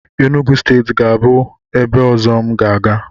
Enugwu steeti ga-abụ ebe ọzọ m ga-aga.